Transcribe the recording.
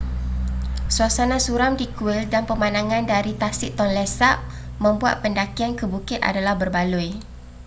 suasana suram di kuil dan pemandangan dari tasik tonle sap membuat pendakian ke bukit adalah berbaloi